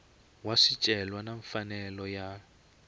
wa swicelwa na mfanelo ya